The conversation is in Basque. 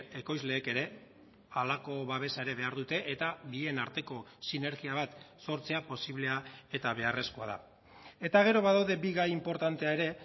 ekoizleek ere halako babesa ere behar dute eta bien arteko sinergia bat sortzea posiblea eta beharrezkoa da eta gero badaude bi gai inportantea ere